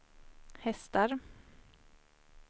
hästar